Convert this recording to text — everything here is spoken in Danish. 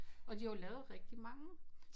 Og de har jo lavet rigtig mange